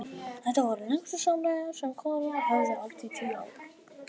Þetta voru lengstu samræður sem konurnar höfðu átt í tíu ár.